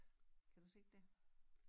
Kan du se dét